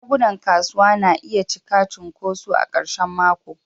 shagunan kasuwa na iya cika cunkoso a karshen mako.